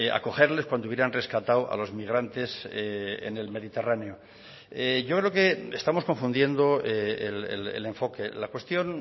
acogerles cuando hubieran rescatado a los migrantes en el mediterráneo yo creo que estamos confundiendo el enfoque la cuestión